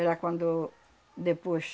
Era quando depois